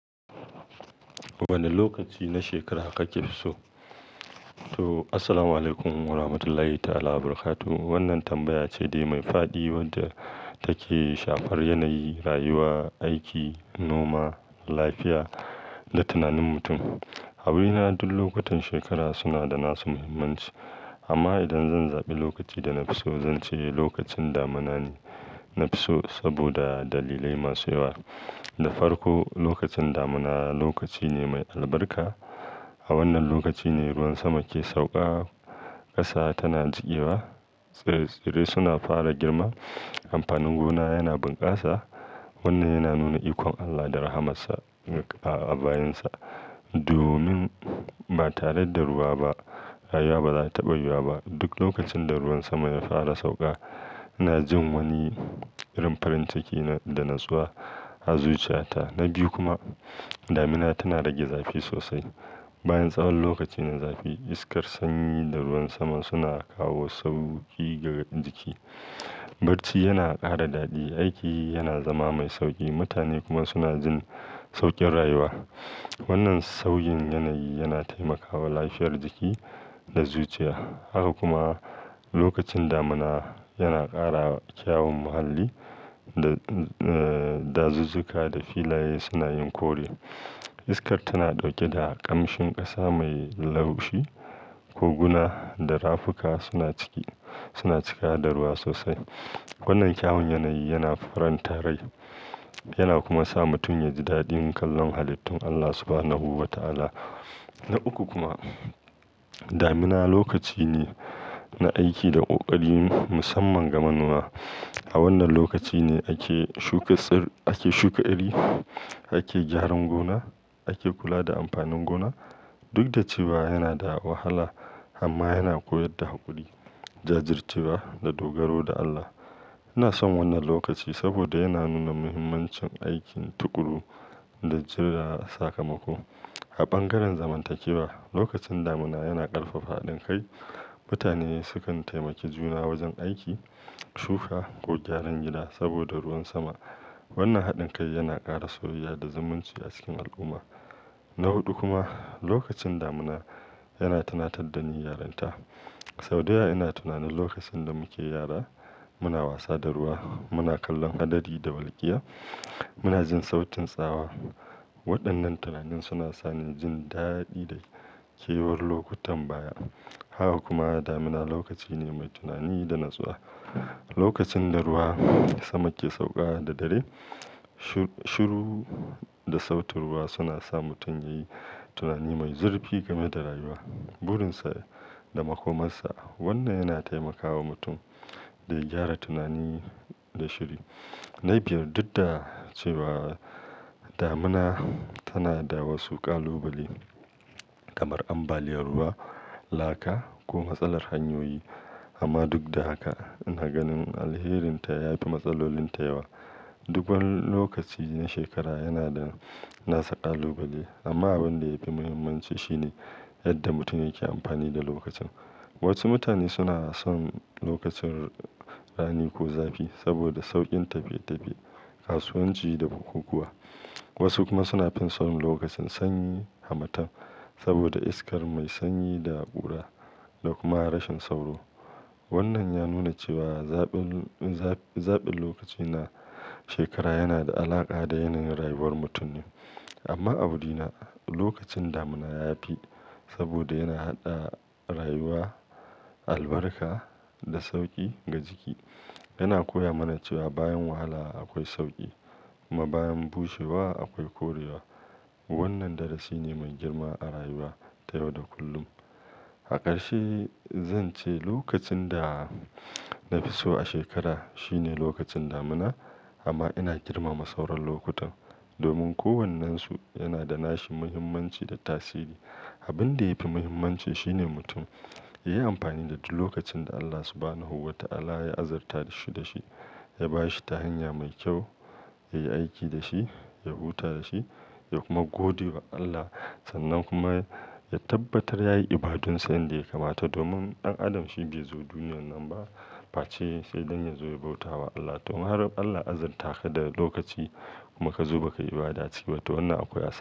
Wane lokaci na shekara kake so? To, Assalamualaikum warahmatullahi ta'ala barakatuh. Wannan tambaya ce dai mai fadi wadda take shafar yanayi, rayuwa, aiki, noma, lafiya da tunanin mutum. A wurina, duk lokutan shekara suna da nasu muhimmanci, amma idan zan zaɓi lokaci da na fi so, zan ce lokacin damuna ne na fi so, saboda dalilai masu yawa. Na farko, lokacin damuna lokaci ne mai albarka. A wannan lokaci ne ruwan sama ke sauka, ƙasa tana jikewa, tsire-tsire suna fara girma, amfanin gona yana bunƙasa. Wannan yana nuna ikon Allah da rahamarsa a bayinsa. Domin ba tare da ruwa ba, rayuwa ba za ta taɓa yiwuwa ba. Duk lokacin da ruwan sama ya fara sauƙa, ina jin wani irin farin ciki da natsuwa a zuciyata. Na biyu kuma, damina tana rage zafi sosai. Bayan tsawon lokacin na zafi, iskar sanyi da ruwan saman suna kawo sauƙi ga jiki. Barci yana ƙara daɗi, aiki yana zama mai sauƙi, mutane kuma suna jin sauƙin rayuwa. Wannan sauƙin yanayi yana taimakawa lafiyar jiki da zuciya. Haka kuma lokacin damuna yana ƙara kyawun muhalli. Da, eh, dazuzzuka da filaye suna yin kore. Iskar tana ɗauke da ƙamshin ƙasa mai laushi. Koguna da rafuka suna ciki, suna cika da ruwa sosai. Wannan kyawun yanayi yana faranta rai, yana kuma sa mutum yaji daɗin kallon halittun Allah Subhanahu wa Ta'ala. Na uku kuma, damina lokaci ne na aiki da ƙoƙari musamman ga manoma. A wannan lokaci ne ake shuka tsir, ake shuka iri, ake gyaran gona, ake kula da amfanin gona. Duk da cewa yana da wahala, amma yana koyar da haƙuri, jajircewa da dogaro da Allah. Ina son wannan lokaci saboda yana nuna muhimmancin aikin tuƙuru da jira sakamako. A bangaren zamantakewa, lokacin damuna yana ƙarfafa haɗin kai. Mutane sukan taimaki juna wajen aiki, shuka ko gyaran gida saboda ruwan sama. Wannan haɗin kai yana ƙara soyayya da zumunci a cikin al'umma. Na huɗu kuma, lokacin damuna yana tunatar da ni yaronta. Sau dayawa ina tunanin lokacin da muke yara, muna wasa da ruwa, muna kallon hadari da walƙiya, muna jin sautin tsawa. Waɗannan tunanin suna sa ni jin daɗi da kewar lokutan baya. Haka kuma damina lokaci ne mai tunani da natsuwa. Lokacin da ruwan sama ke sauƙa da dare, shiru, shiru da sautin ruwa suna sa mutum yayi tunani mai zurfi game da rayuwa, burinsa da makomarsa. Wannan yana taimakawa mutum da gyara tunani da shiri. Na biyar, duk da cewa damina tana da wasu ƙalubale kamar ambaliyar ruwa, laka ko matsalar hanyoyi, amma duk da haka ina ganin alherinta yafi matsalolinta yawa. Duk wani lokaci na shekara yana da, nasa ƙalubale amma abin da yafi muhimmanci shine yadda mutum yake amfani da lokacin. Wasu mutane suna son lokacin rani ko zafi saboda sauƙin tafiye-tafiye, kasuwanci da bukukuwa. Wasu kuma suna finson lokacin sanyi harmatan saboda iskar mai sanyi da kura da kuma rashin sauro. Wannan ya nuna cewa zaɓin, zaɓin lokaci na shekara yana da alaƙa da yanayin rayuwar mutum ne. Amma a wurina lokacin damuna yafi saboda yana haɗa rayuwa, albarka da sauƙi ga jiki. Yana koya mana cewa bayan wahala akwai sauƙi kuma bayan bushewa akwai korewa. Wannan darasi ne mai girma a rayuwa ta yau da kullum. A ƙarshe zan ce lokacin da na fi so a shekara shine lokacin damuna amma ina girmama sauran lokutan domin kowannensu yana da nashi muhimmanci da tasiri. Abin da yafi muhimmanci shine mutum yayi amfani da duk lokacin da Allah Subhanahu wa Ta'ala ya azurtashi dashi, ya bashi ta hanya mai kyau, ya yi aiki da shi, ya huta da shi, ya kuma godewa Allah. Sannan kuma ya tabbatar yayi ibadunsa yadda ya kamata domin ɗan adam shi bai zo duniyar nan ba face sai dan yazo ya bautawa Allah. Domin har Allah ya azurta ka da lokaci kuma ka zo bakayi ibada a ciki ba to wannan akwai asara.